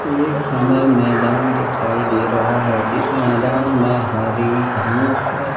एक हमें मैदान दिखाई दे रहा है जिस मैदान में हरी घास है।